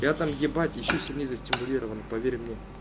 я там ебать ещё сильней застимулирован поверь мне